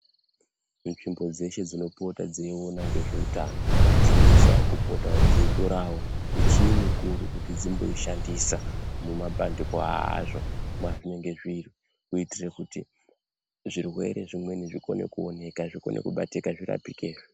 Munzvimbo dzeshe dzinopota dzeiona ngezveutano dzinosisawo kupotawo dzeitorawo michini mikuru kuti dzimboishandisa mumabandiko azvo mwazvinenge zviri kuitire kuti zvirwere zvimweni zvikone kuoneka zvikone kubatika zvirapike.